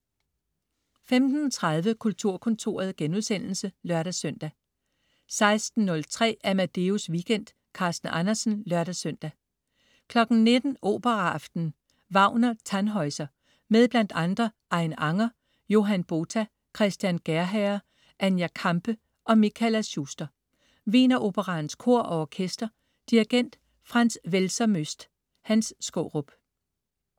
15.30 Kulturkontoret* (lør-søn) 16.03 Amadeus Weekend. Carsten Andersen (lør-søn) 19.00 Operaaften. Wagner: Tannhäuser. Med bl.a. Ain Anger, Johan Botha, Christian Gerhaher, Anja Kampe og Michaela Schuster. Wieneroperaens Kor og Orkester. Dirigent: Franz Welser-Möst. Hans Skaarup